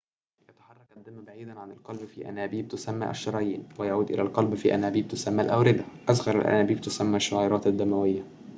يتحرك الدم بعيداً عن القلب في أنابيب تسمى الشرايين ويعود إلى القلب في أنابيب تسمى الأوردة أصغر الأنابيب تسمى الشعيرات الدموية